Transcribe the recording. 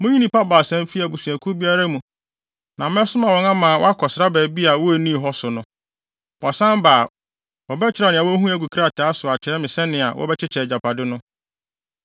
Munyi nnipa baasa mfi abusuakuw biara mu na mɛsoma wɔn ama wɔakɔsra baabi a wonnii hɔ so no. Wɔsan ba a, wɔbɛkyerɛw nea wohui agu krataa so akyerɛ me sɛnea wɔbɛkyekyɛ agyapade no.